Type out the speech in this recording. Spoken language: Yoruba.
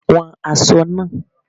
Wọn aṣọ náà.